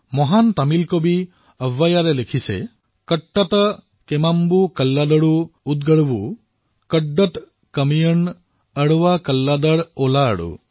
মহান তামিল কবি অবৈয়াৰে লিখিছে কট্টট কেমাংবু কল্লাদৰু উড়গড়বু কট্টত কয়িমন অড়ৱা কল্লাদৰ ওলাআড়ু